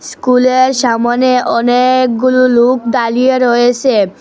স্কুলের সামোনে অনেকগুলু লোক দাঁড়িয়ে রয়েসে।